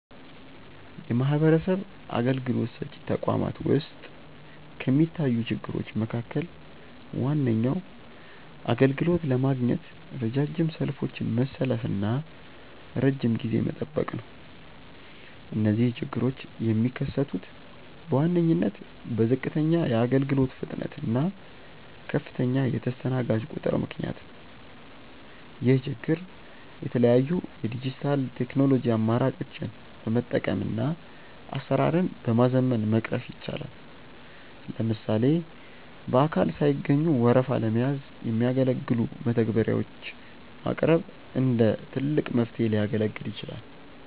የማህበረሰብ አገልግሎት ሰጪ ተቋማት ውስጥ ከሚታዩ ችግሮች መካከል ዋነኛው አገልግሎት ለማግኘት ረጃጅም ሰልፎችን መሰለፍና ረጅም ጊዜ መጠበቅ ነው። እነዚህ ችግሮች የሚከሰቱት በዋነኝነት በዝቅተኛ የአገልግሎት ፍጥነት እና ከፍተኛ የተስተናጋጅ ቁጥር ምክንያት ነው። ይህን ችግር የተለያዩ የዲጂታል ቴክኖሎጂ አማራጮችን በመጠቀምና አሰራርን በማዘመን መቅረፍ ይቻላል። ለምሳሌ በአካል ሳይገኙ ወረፋ ለመያዝ የሚያገለግሉ መተግበሪያዎች ማቅረብ እንደ ትልቅ መፍትሄ ሊያገለግል ይችላል።